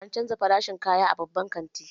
An canza farashin kaya a babban kantin